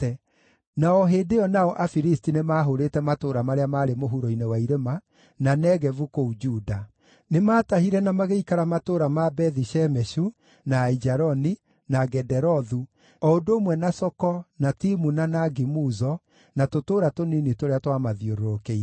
na o hĩndĩ ĩyo nao Afilisti nĩmahũrĩte matũũra marĩa maarĩ mũhuro-inĩ wa irĩma, na Negevu kũu Juda. Nĩmatahire na magĩikara matũũra ma Bethi-Shemeshu, na Aijaloni, na Gederothu, o ũndũ ũmwe na Soko, na Timuna, na Gimuzo, na tũtũũra tũnini tũrĩa twamathiũrũrũkĩirie.